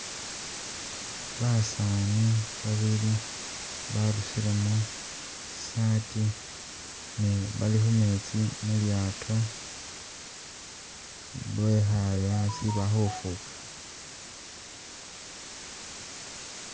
Basaani babili barusilemo tsi saati ne bali khumetsi mulyato bekhaale asi bali khufuga